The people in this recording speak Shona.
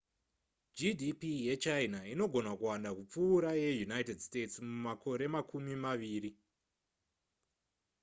gdp yechina inogona kuwanda kupfuura yeunited states mumakore makumi maviri